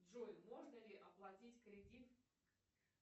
джой можно ли оплатить кредит